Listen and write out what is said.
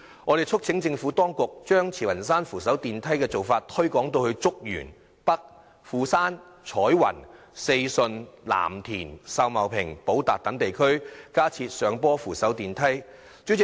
我們促請政府當局將慈雲山扶手電梯的做法推廣至竹園北、富山、彩雲、四順、藍田、秀茂坪及寶達等地區，在區內加設上坡扶手電梯。